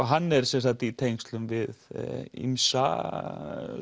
hann er sem sagt í tengslum við ýmsa